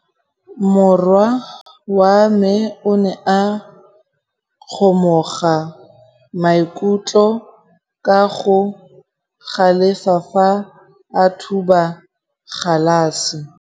Morwa wa me o ne a kgomoga maikutlo ka go galefa fa a thuba galase.